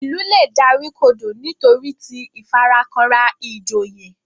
Ilú lẹ dárìkodo nitoriti ìfarakanra ìjòyè